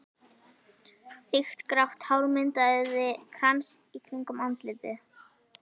Þykkt grátt hár myndaði krans í kringum andlitið.